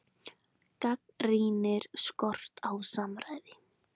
Gagnrýnir skort á samráði